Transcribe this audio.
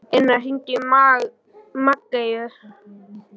Inna, hringdu í Maggeyju.